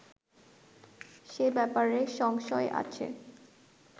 সে ব্যাপারে সংশয় আছে